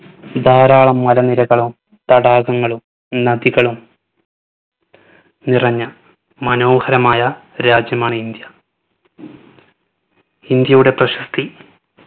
ധാരാളം മല നിരകളും തടാകങ്ങളും നദികളും നിറഞ്ഞ മനോഹരമായ രാജ്യമാണ് ഇന്ത്യ. ഇന്ത്യയുടെ പ്രശസ്തി